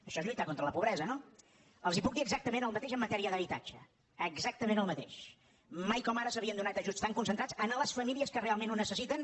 això és lluitar contra la pobresa no els puc dir exactament el mateix en matèria d’habitatge exactament el mateix mai com ara s’havien donat ajuts tan concentrats a les famílies que realment ho necessiten